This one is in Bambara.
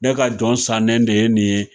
Ne ka jɔn sannen de ye nin ye